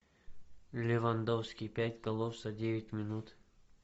левандовский пять голов за девять минут